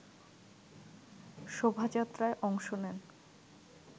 শোভাযাত্রায় অংশ নেন